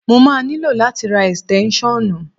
Mo máa nílò láti ra ẹ̀sìtẹ́ṣọ́nù.